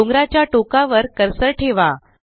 डोंगराच्या टोकावर कर्सर ठेवा